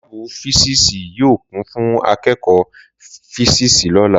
Làbú físìsí yio kún fún àkẹkọ físìsí lólà